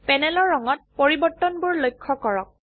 প্যানেলৰ ৰঙত পৰিবৰ্তনবোৰ লক্ষ্য কৰক